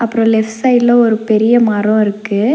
அப்றோ லெஃப்ட் சைட்ல ஒரு பெரிய மரொ இருக்கு.